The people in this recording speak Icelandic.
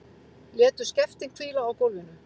Létu skeftin hvíla á gólfinu.